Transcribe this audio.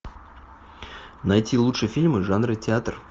найти лучшие фильмы жанра театр